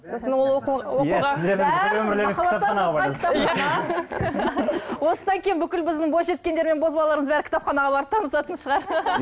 осыдан кейін бүкіл біздің бойжеткендер мен бозбалаларымыз бәрі кітапханаға барып танысатын шығар